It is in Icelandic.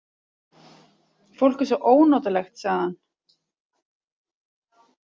Fólk er svo ónotalegt, sagði hann.